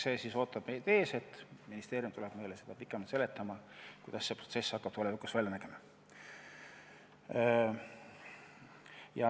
See siis ootab meid ees, et ministeerium tuleb meile seda pikemalt seletama, kuidas see protsess hakkab tulevikus välja nägema.